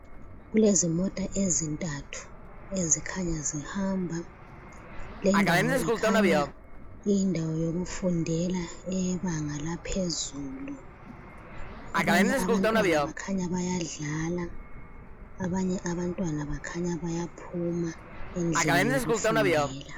Kulezimota ezintathu ezikhanya zihamba. Leyi indawo ikhanya iyindawo yokufundela eyebanga laphezulu. Abanye abantwana bakhanya bayadlala , abanye abantwana bakhanya bayaphuma endlini yokufundela.